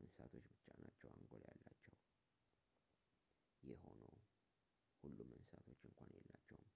እንስሳቶች ብቻ ናቸው አንጎል ያላቸው ይህም ሆኖ ሁሉም እንስሳቶች እንኳን የላቸውም፣